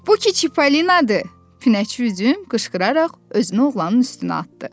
Bu ki Çipolinadır, Pinəçi üzüm qışqıraraq özünü oğlanın üstünə atdı.